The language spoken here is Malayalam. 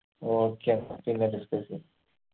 okay അപ്പൊ പിന്നെ discuss എയ്യാ